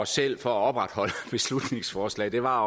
selv for at opretholde beslutningsforslaget at